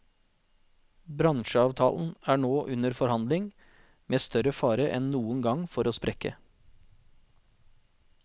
Bransjeavtalen er nå under forhandling, med større fare enn noen gang for å sprekke.